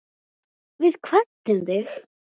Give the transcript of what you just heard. Við kvöddum þig.